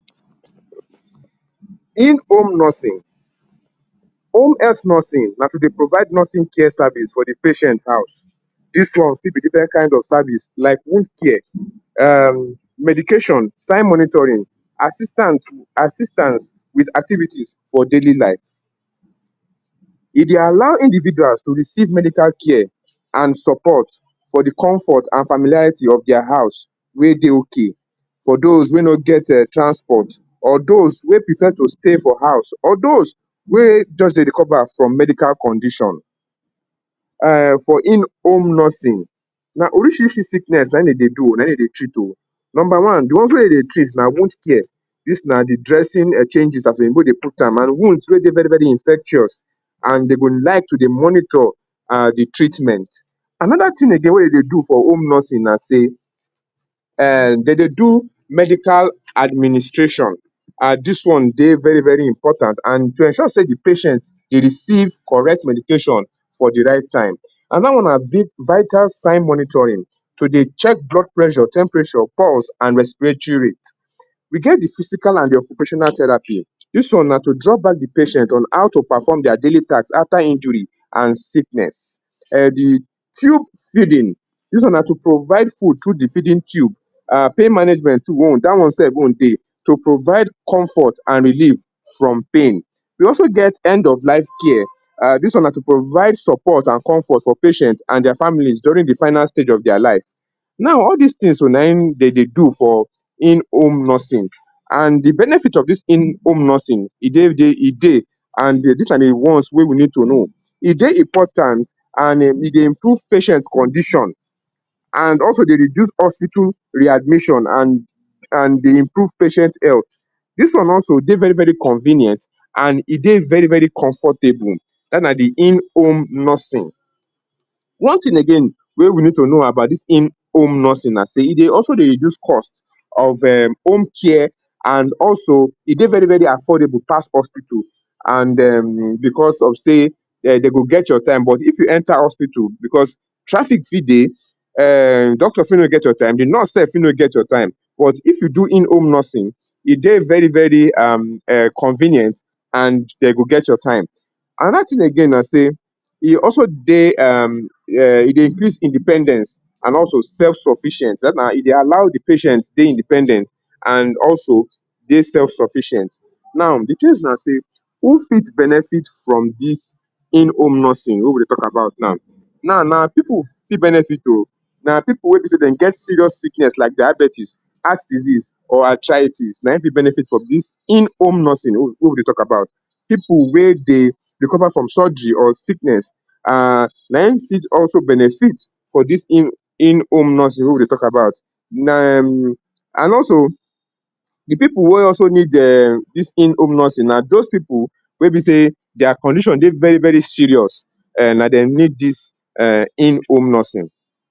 In home nursing, home health nursing na to dey provide nursing care services for di patients house.dis one fit be different kain of service like wound care, medications,[um] sign monitoring assistance assistances wit activities for daily life. E dey allow individuals to receive medical care and support for di comfort and familiarity of dia house, wey dey ok for dos wey no get um transport, or dos wey prefer to stay for house, or dos wey just dey recover from medical condition. um For in home nursing, na orishirishi sickness na im dem dey do o, na im dem dey treat o. Number one, di ones wey dem dey treat na wound care, na Di dressing and changes as dem dey go dey put am and wound wey dey very very infectious and dem go like to dey monitor um di treatment. Anoda tin wey dem dey do for home nursing treatment, na sey um dem dey do medical administration. um Dis one dey very very important and to ensure di patient dey receive correct medication for di right time. Anoda one na vital signs monitoring, to dey check blood pressure, temperature, pulse and respiratory rate. We get di physical and occupational therapy, dis one na to draw back di patients on how to perform dia daily task afta injury and sickness. um Di tube feeding. Dis one na to provide food through di feeding tube. Pain management too, dat one own too dey, to provide comfort and relief from pain. We also get end of life care. Dis one na to provide support and comfort for patients and dia families during di final stage of dia lives. Now, all dis tins o, na im dey dey do for inhome nursing and di benefits of dis inhome nursing e dey and dis are di ones wey we need to know e dey important and e dey improve patients condition and also e dey reduce hospital readmission and de improve patients health. Dis one also dey very very convenient and e dey very very comfortable dat na di in home nursing. One tin again, wey we need to know about di inhome nursing na say e dey also dey reduce cost of home care and also e dey very very affordable pass hospital and um bicos of say dey do get your time, but if you enta hospital bicos traffic fit dey, [um]doctor fit no get your time, di nurse sef fit no get your time, but if you do in home nursing, e dey very very um [um]convenient and dey go get your time. Anoda tin again na sey e also dey, e um dey increase independence and also self-sufficient dat na, e dey allow di patient dey independent and also dey self sufficient. Now di tins na say who fit benefits from dis inhome nursing wey we dey tok about now? Now na na pipu fit benefits o, na pipu wey be say dem get serious sickness like diabetes, heart disease or arthritis na im fit benefits from dis inhome nursing wey we dey tok about. Pipu wey dey recover from surgery or sickness um na im fit also benefits for dis inhome nursing wey we dey tok about. um And also, di pipu wey also need um dis inhome nursing na dos pipu wey be say dia condition dey very very serious um na dem um need dis inhome nursing.